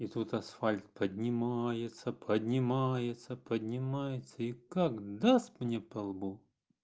и тут асфальт поднимается поднимается поднимается и как даст мне по лбу